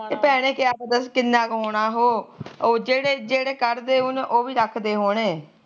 ਇਹ ਭੈਣੇ ਕਿਹਾ ਪਤਾ ਕਿੰਨਾਂ ਕ ਹੋਣਾ ਉਹ ਉਹ ਜਿਹੜੇ ਜਿਹੜੇ ਕੱਢਦੇ ਉਹ ਵੀ ਰੱਖਦੇ ਹੋਣੇ